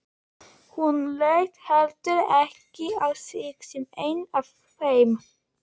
Hún leit heldur ekki á sig sem einn af þeim.